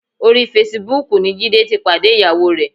Orí fesibúùkù ni Jídé ti pàdé ìyàwó rẹ̀.